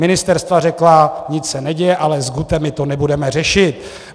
Ministerstva řekla: Nic se neděje, alles gute, my to nebudeme řešit.